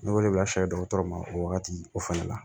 Ne wele la dɔgɔtɔrɔ ma o wagati o fana la